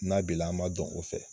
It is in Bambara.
N'a b'i la, an b'a dɔn o fɛ.